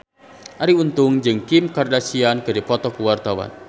Arie Untung jeung Kim Kardashian keur dipoto ku wartawan